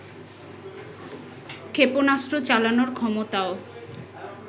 ক্ষেপনাস্ত্র চালানোর ক্ষমতাও